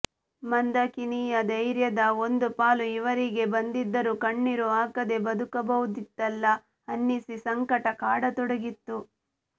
ಮಂದಾಕಿನಿಯ ಧೈರ್ಯದ ಒಂದು ಪಾಲು ಇವರಿಗೆ ಬಂದಿದ್ದರೂ ಕಣ್ಣೀರು ಹಾಕದೆ ಬದುಕಬಹುದಿತ್ತಲ್ಲ ಅನ್ನಿಸಿ ಸಂಕಟ ಕಾಡತೊಡಗಿದ್ದು